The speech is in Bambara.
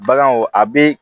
Baganw a bɛ